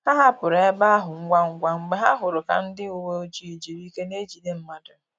Ha hapụrụ ebe ahụ ngwa ngwa mgbe ha hụrụ ka ndị uweojii jiri ike n'ejide mmadụ